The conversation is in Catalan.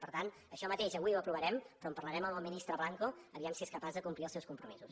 per tant això mateix avui ho aprovarem però en parlarem amb el ministre blanco a veure si és capaç de complir els seus compromisos